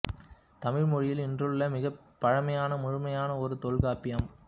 தமிழ் மொழியில் இன்றுள்ள மிகப் பழமையான முழுமையான நூல் தொல்காப்பியம்